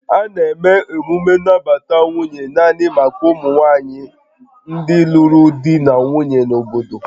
A na-eme emume nnabata nwunye naanị maka ụmụ nwanyị ndị lụrụ di na nwunye na obodo